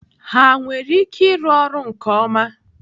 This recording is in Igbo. Ha nwere ike ịrụ ọrụ nke ọma?